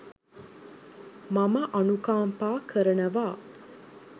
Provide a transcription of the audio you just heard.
මම අනුකම්පා කරනවා